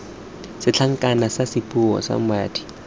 setlankana sa sesupo sa madi